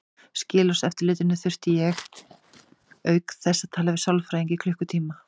Skilorðseftirlitinu þurfti ég auk þess að tala við sálfræðing í klukkutíma.